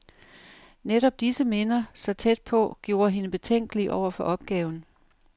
Netop disse minder, så tæt på, gjorde hende betænkelig over for opgaven.